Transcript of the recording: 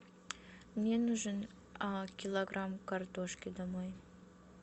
мне нужен килограмм картошки домой